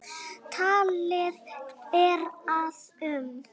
Talið er að um